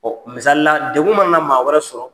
Ɔ misalila, degun mana na maa wɛrɛ sɔrɔ.